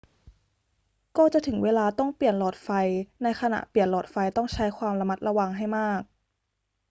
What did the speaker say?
ก็จะถึงเวลาต้องเปลี่ยนหลอดไฟ ในขณะเปลี่ยนหลอดไฟต้องใช้ความระมัดระวังให้มาก